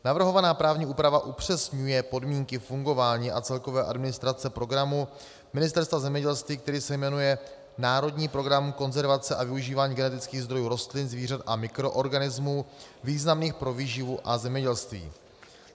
Navrhovaná právní úprava upřesňuje podmínky fungování a celkové administrace programu Ministerstva zemědělství, který se jmenuje Národní program konzervace a využívání genetických zdrojů rostlin, zvířat a mikroorganismů významných pro výživu a zemědělství.